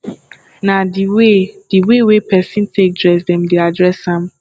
na di way di way wey person take dress dem dey address am